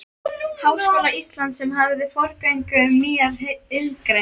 Háskóla Íslands, sem hafði forgöngu um nýjar iðngreinar.